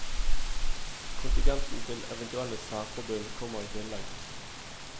Kontingenten til eventuelle særforbund kommer i tillegg.